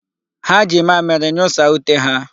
Ha ji mamịrị nyụsaa ute ha.